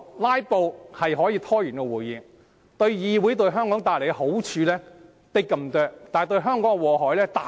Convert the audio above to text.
"拉布"的確可以拖延會議，為議會和香港帶來的好處只是甚微，但造成的禍害卻極大。